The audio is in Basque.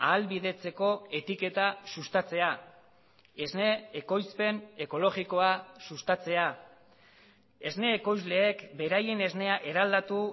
ahalbidetzeko etiketa sustatzea esne ekoizpen ekologikoa sustatzea esne ekoizleek beraien esnea eraldatu